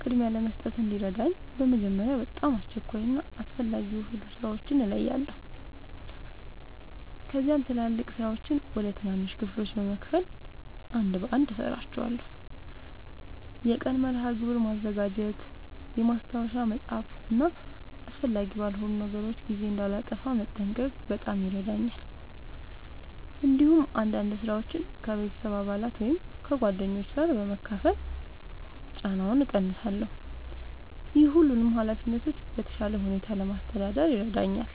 ቅድሚያ ለመስጠት እንዲረዳኝ በመጀመሪያ በጣም አስቸኳይ እና አስፈላጊ የሆኑ ሥራዎችን እለያለሁ። ከዚያም ትላልቅ ሥራዎችን ወደ ትናንሽ ክፍሎች በመከፋፈል አንድ በአንድ እሠራቸዋለሁ። የቀን መርሃ ግብር ማዘጋጀት፣ ማስታወሻ መጻፍ እና አስፈላጊ ባልሆኑ ነገሮች ጊዜ እንዳላጠፋ መጠንቀቅ በጣም ይረዳኛል። እንዲሁም አንዳንድ ሥራዎችን ከቤተሰብ አባላት ወይም ከጓደኞች ጋር በመካፈል ጫናውን እቀንሳለሁ። ይህ ሁሉንም ኃላፊነቶች በተሻለ ሁኔታ ለማስተዳደር ይረዳኛል።